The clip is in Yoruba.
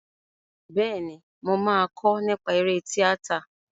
Bẹ́ẹ̀ni, mo máa kọ́ nípa eré tíátà.